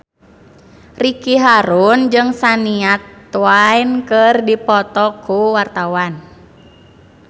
Ricky Harun jeung Shania Twain keur dipoto ku wartawan